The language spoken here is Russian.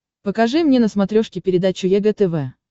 покажи мне на смотрешке передачу егэ тв